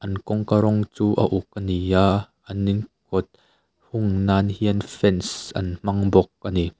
an kawngka rawng chu a uk ani a an in kawt hung nan hian fence an hmang bawk ani.